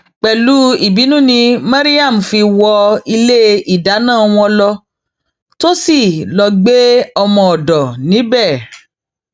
pẹlú ìbínú ni maryam fi wọn ilé ìlànà wọn lọ tó sì lọọ gbé ọmọọdọ níbẹ